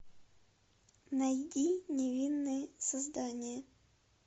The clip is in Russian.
найди невинные создания